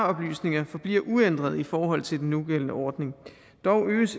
oplysninger forbliver uændret i forhold til den nugældende ordning dog øges